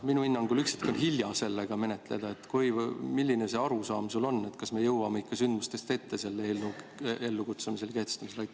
Minu hinnangul on küll üksiti hilja seda menetleda, aga milline arusaam sul on, kas me jõuame ikka sündmustest ette selle eelnõu seadusena kehtestamise korral?